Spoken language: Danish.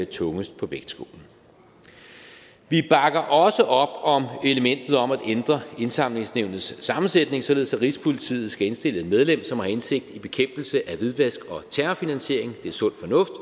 tungest på vægtskålen vi bakker også op om elementet om at ændre indsamlingsnævnets sammensætning således at rigspolitiet skal indstille et medlem som har indsigt i bekæmpelse af hvidvask og terrorfinansiering det er sund